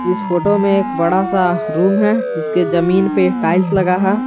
इस फोटो में एक बड़ा सा रूम है इसके जमीन पे टाइल्स लगा है।